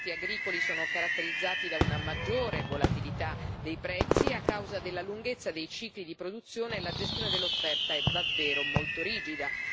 I mercati agricoli sono caratterizzati da una maggiore volatilità dei prezzi a causa della lunghezza dei cicli di produzione e la gestione dell'offerta è davvero molto rigida.